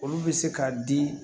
Olu bɛ se ka di